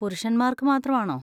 പുരുഷന്മാർക്ക് മാത്രം ആണോ?